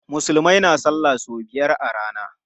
Musulmai na salla sau biyar a rana.